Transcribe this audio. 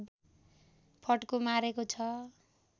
फड्को मारेको छ